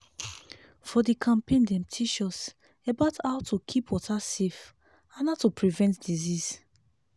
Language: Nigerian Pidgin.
for the campaign dem teach us about how to keep water safe and how to prevent disease.